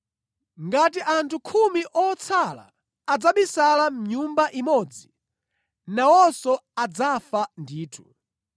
Ngati anthu khumi otsala adzabisala mʼnyumba imodzi, nawonso adzafa ndithu.